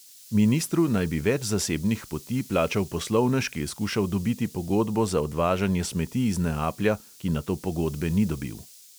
Ministru naj bi več zasebnih poti plačal poslovnež, ki je skušal dobiti pogodbo za odvažanje smeti iz neaplja, ki nato pogodbe ni dobil.